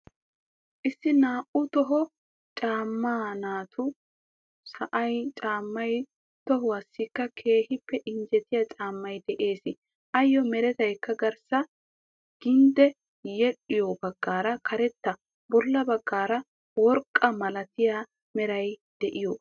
Issi naa"u toho macca naatu sa"aa caammay tohuwaassikka keehippe injjetiya caammay de"ees. Ayyo meraykka garssa gindde yedhdhiyoo baggaara karetta bolla baggaara worqaa malatiyaa meraara diyaagaa.